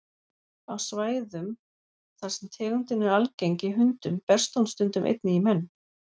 Á svæðum þar sem tegundin er algeng í hundum berst hún stundum einnig í menn.